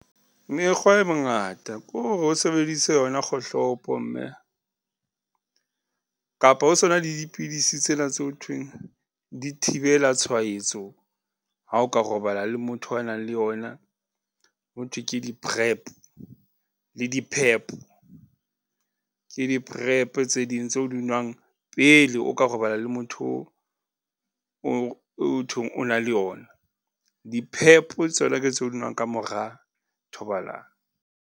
Mekgwa e mengata ko re o sebedise yona kgohlopo mme, kapa ho sona le dipidisi tsena tse ho thweng di thibela tshwaetso. Ha o ka robala le motho a nang le yona. Ho thwe ke di-PrEP le di-PrEP, ke di-PrEP tse ding tse o di nwang pele o ka robala le motho o thweng o na le ona di-PEP tsona ke tseo o di nwang kamora thobalano.